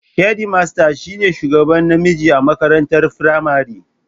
Shedimasta shi ne shugaba namiji a makarantar firamare